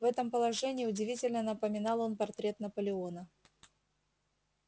в этом положении удивительно напоминал он портрет наполеона